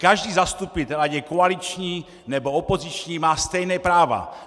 Každý zastupitel, ať je koaliční, nebo opoziční, má stejná práva.